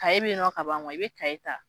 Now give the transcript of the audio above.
bɛ yen nɔ ka ban i bɛ ta